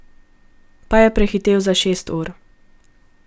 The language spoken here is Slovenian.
Pa je prehitel za šest ur.